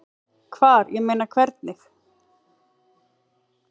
Hvar, ég meina. hvernig?